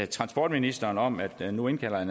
transportministeren om at han nu indkalder